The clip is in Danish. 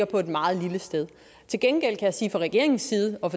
på et meget lille sted til gengæld kan jeg sige fra regeringens side og